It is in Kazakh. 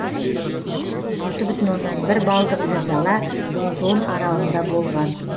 алты бүтін оннан бір балдық зілзала лузон аралында болған